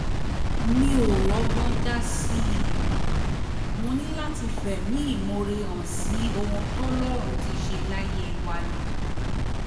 mi ò rọ́gbọ́n dá sí i mo ní láti fẹ̀mí ìmoore hàn sí ohun tọ́lọ́run ti ṣe láyé wa ni